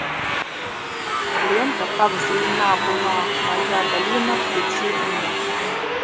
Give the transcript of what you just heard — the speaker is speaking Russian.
лента как зелена была моя долина включи мне